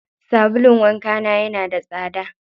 Sabulun wanka na yana da tsada.